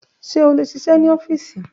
Ṣe o le ṣiṣẹ ni ọfiisi?